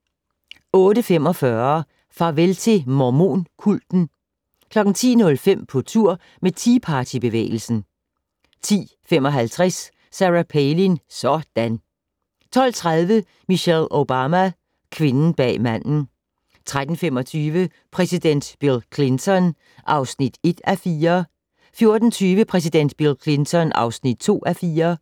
08:45: Farvel til mormon-kulten 10:05: På tur med Tea Party-bevægelsen 10:55: Sarah Palin - sådan! 12:30: Michelle Obama: Kvinden bag manden 13:25: Præsident Bill Clinton (1:4) 14:20: Præsident Bill Clinton (2:4)